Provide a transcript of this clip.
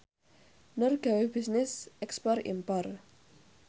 Nur gawe bisnis ekspor impor